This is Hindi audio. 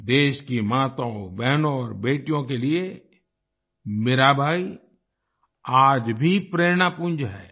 देश की माताओंबहनों और बेटियों के लिए मीराबाई आज भी प्रेरणापुंज हैं